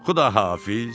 Xudahafiz!